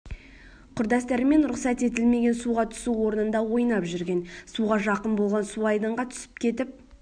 құрдастарымен рұқсат етілмеген суға түсу орнында ойнап жүрген суға жақын болған су айдынға түсіп кетіп